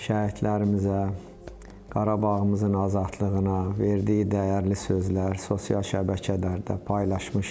Şəhidlərimizə, Qarabağımızın azadlığına verdiyi dəyərli sözlər sosial şəbəkələrdə paylaşmışdı.